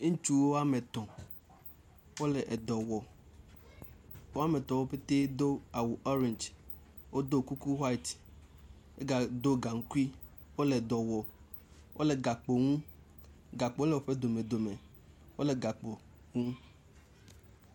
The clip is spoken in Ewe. Ŋutsu woame etɔ̃, wole edɔ wɔm. Woametɔ̃ pɛtɛɛ do awu ɔrɛndzi. Wodo kuku white. Wogado gaŋkui. Wole dɔ wɔm. Wole gakpo nu. Gakpo le woƒe domedome. Wole gakpo nu.